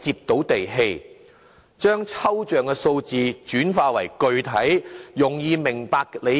把抽象的數字轉化為具體易明的目標。